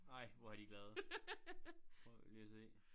Ej hvor er de glade prøv lige at se